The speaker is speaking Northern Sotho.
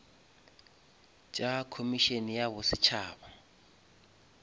tša komišene ya bo setšhaba